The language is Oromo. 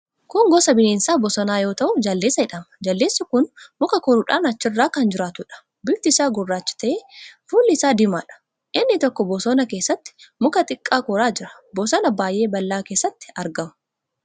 Kun gosa bineensa bosonaa yoo ta'u, jaldeessa jedhama. Jaldeessi kun muka koruudhaan achirra kan jiraatuudha. Bifti isaa gurraacha ta'ee, fuulli isaa diimaadha. Inni tokko bosona keessatti muka xiqqaa koraa jira. Bosona baay'ee bal'aa keessatti argamu.